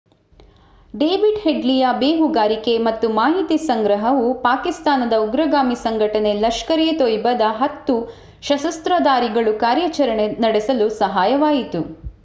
David ಹೆಡ್ಲಿಯ ಬೇಹುಗಾರಿಕೆ ಮತ್ತು ಮಾಹಿತಿ ಸಂಗ್ರಹವು ಪಾಕಿಸ್ತಾನದ ಉಗ್ರಗಾಮಿ ಸಂಘಟನೆ ಲಷ್ಕರ್ ಎ ತೊಯ್ಬಾದ 10 ಸಶಸ್ತ್ರಧಾರಿಗಳು ಕಾರ್ಯಾಚರಣೆ ನಡೆಸಲು ಸಹಾಯವಾಯಿತು